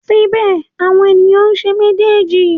Síbẹ̀ àwọn ènìyàn ń ṣe méjèèjì.